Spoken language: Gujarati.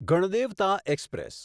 ગણદેવતા એક્સપ્રેસ